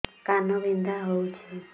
କାନ ବିନ୍ଧା ହଉଛି